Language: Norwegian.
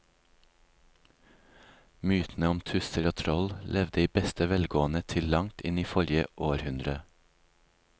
Mytene om tusser og troll levde i beste velgående til langt inn i forrige århundre.